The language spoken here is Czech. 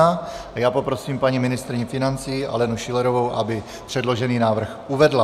A já poprosím paní ministryni financí Alenu Schillerovou, aby předložený návrh uvedla.